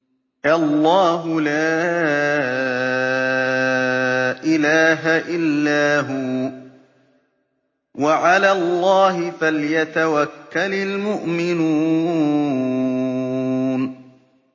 اللَّهُ لَا إِلَٰهَ إِلَّا هُوَ ۚ وَعَلَى اللَّهِ فَلْيَتَوَكَّلِ الْمُؤْمِنُونَ